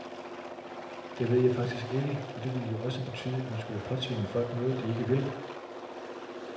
Det ved jeg faktisk ikke, for det ville jo også betyde, at man skulle påtvinge folk noget, de ikke vil.